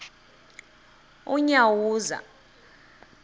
unyawuza